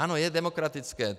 Ano, je demokratické.